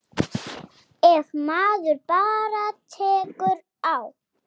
Ef maður bara tekur á.